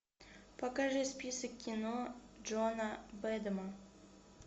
покажи список кино джона бэдэма